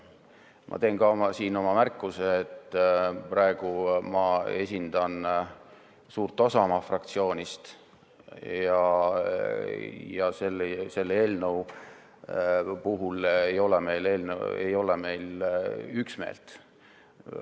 Ma teen märkuse, et praegu ma esindan suurt osa oma fraktsioonist ja selle eelnõu puhul ei ole meil üksmeelt.